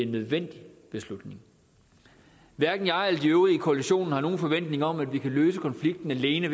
nødvendig beslutning hverken jeg eller de øvrige i koalitionen har nogen forventning om at vi kan løse konflikten alene